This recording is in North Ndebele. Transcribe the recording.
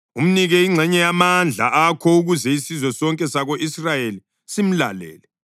Umnike ingxenye yamandla akho ukuze isizwe sonke sako-Israyeli simlalele.